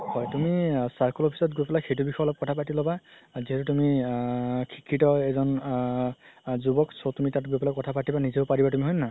হয় তুই circle office ত গৈ সেই বিষয়ে অলপ কথা পাতি ল'বা যিহেতু তুমি আ শিক্ষিত এজন আ জুৱক so তুমি তাত গৈ পেলাই কথা পাতিবা নিজেও পাৰিবা তুমি হয় নে নহয়